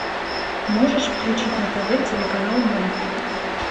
можешь включить на тв телеканал мульт